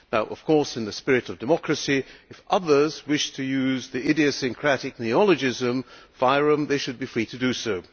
Of course, in the spirit of democracy, if others wish to use the idiosyncratic neologism FYROM, they should be free to do so.